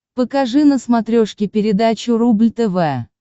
покажи на смотрешке передачу рубль тв